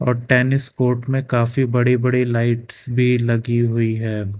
और tennis court में काफी बड़ी बड़ी लाइट्स भी लगी हुई है।